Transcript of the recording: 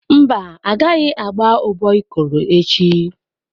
Mba, a gaghị agba ụbọ Ikoro echi.